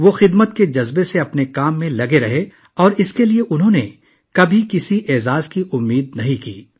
وہ اپنے کام میں پوری لگن سے مصروف رہے اور اس کے بدلے کسی اجر کی امید نہ رکھی